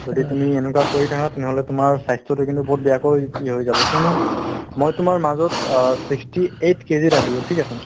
যদি তুমি এনেকুৱা কৰি থাকা তেনেহ'লে তোমাৰ স্বাস্থ্যতো কিন্তু বহুত বেয়াকৈ হৈ যাব কিয়নো মই তোমাৰ মাজত অ sixty eight KG ৰ আছিলো ঠিক আছে